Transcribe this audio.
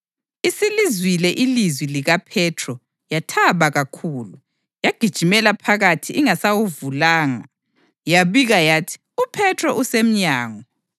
Isilizwile ilizwi likaPhethro yathaba kakhulu, yagijimela phakathi ingasawuvulanga, yabika yathi, “UPhethro usemnyango!”